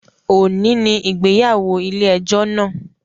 Ọni ni ìgbéyàwó ile-ẹjọ náa.